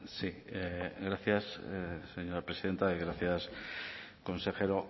sí gracias señora presidenta gracias consejero